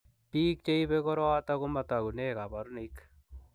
Biko cheibe korooto komatakune kabarunoik.